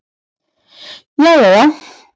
Jæja já.